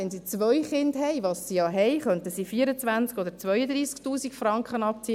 Haben sie zwei Kinder, was sie in diesem Beispiel ja haben, könnten sie 24 000 Franken oder 32 000Franken abziehen.